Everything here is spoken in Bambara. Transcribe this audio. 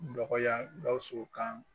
Dɔgɔya Gawusu kan